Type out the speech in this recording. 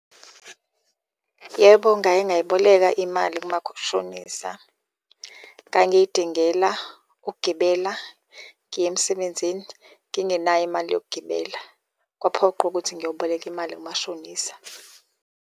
Yebo ngake ngayiboleka imali shonisa. Ngangiyidingela ukugibela ngiye emsebenzini ngingenayo imali yokugibela, kwaphoqa ukuthi ngiyoboleka imali kumashonisa.